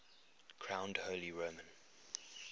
crowned holy roman